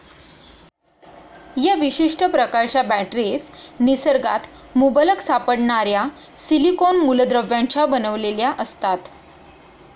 या विशिष्ट प्रकारच्या बॅटरीज निसर्गात मुबलक सापडणाऱ्या सिलीकोन मुलद्रव्यांच्या बनविल्या असता.